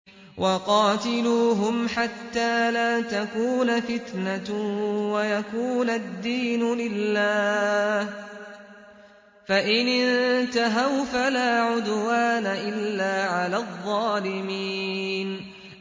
وَقَاتِلُوهُمْ حَتَّىٰ لَا تَكُونَ فِتْنَةٌ وَيَكُونَ الدِّينُ لِلَّهِ ۖ فَإِنِ انتَهَوْا فَلَا عُدْوَانَ إِلَّا عَلَى الظَّالِمِينَ